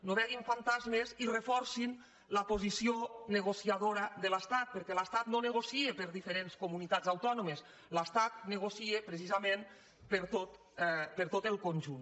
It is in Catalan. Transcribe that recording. no vegin fantasmes i reforcin la posi·ció negociadora de l’estat perquè l’estat no negocia per a diferents comunitats autònomes l’estat negocia precisament per a tot el conjunt